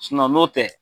n'o tɛ